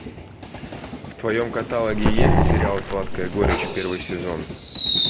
в твоем каталоге есть сериал сладкая горечь первый сезон